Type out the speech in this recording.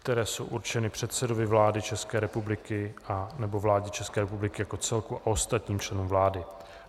které jsou určeny předsedovi vlády České republiky nebo vládě České republiky jako celku a ostatním členům vlády.